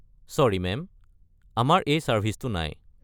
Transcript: Sorry, ma'am. আমাৰ এই চাৰ্ভিছটো নাই।